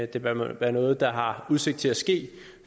det bør være noget der har udsigt til at ske